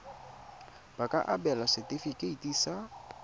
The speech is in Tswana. ba ka abelwa setefikeiti sa